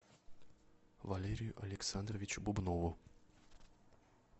валерию александровичу бубнову